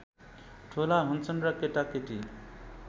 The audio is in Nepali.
ठुला हुन्छन् र केटाकेटी